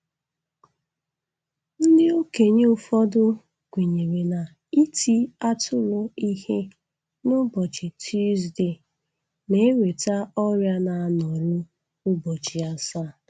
Ndị okenye ụfọdụ kwenyere na-iti atụrụ ihe n'ụbọchị Tusdee na-eweta ọrịa na-anọru ụbọchị asaa.